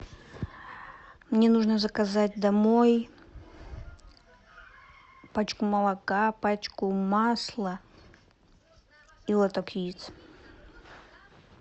мне нужно заказать домой пачку молока пачку масла и лоток яиц